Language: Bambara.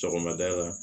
Sɔgɔmada la